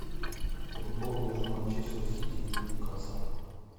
футбол между манчестер сити и ньюкасл